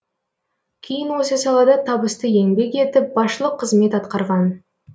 кейін осы салада табысты еңбек етіп басшылық қызмет атқарған